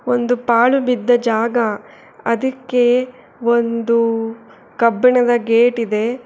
ಒಂದು ಪಾಳು ಬಿದ್ದ ಜಾಗ ಅದಿಕ್ಕೆ ಒಂದು ಕಬ್ಬಿಣದ ಗೇಟ್ ಇದೆ.